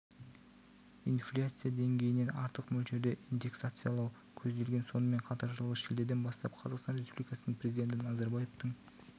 инфляция деңгейінен артық мөлшерде индексациялау көзделген сонымен қатар жылғы шілдеден бастап қазақстан республикасының президенті назарбаевтың